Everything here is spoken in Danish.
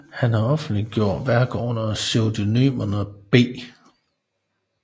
Han har offentliggjort værker under pseudonymerne B